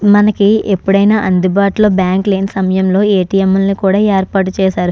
మనకి ఎప్పుడైన అందుబాటులో బ్యాంకు లేని సమయంలో ఎ.టి.ఎం. లను కూడా ఏర్పాటు చేసారు.